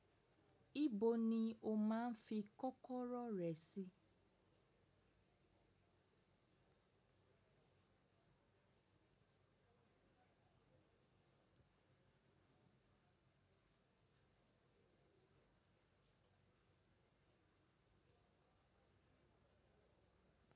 Ibo ni o máa ń fi kọ́kọ́rọ́ rẹ sí?